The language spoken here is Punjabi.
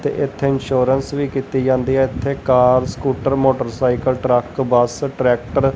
ਤੇ ਏੱਥੇ ਇਨਸ਼ੋਰੇਂਸ ਵੀ ਕੀਤੀ ਜਾਂਦੀ ਹੈ ਏੱਥੇ car scooter motorcycle truck bus tractor --